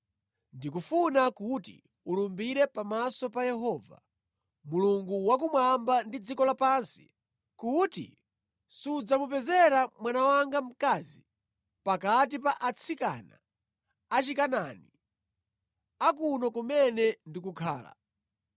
Ndikufuna kuti ulumbire pamaso pa Yehova, Mulungu wakumwamba ndi dziko lapansi, kuti sudzamupezera mwana wanga mkazi pakati pa atsikana Achikanaani a kuno kumene ndikukhala,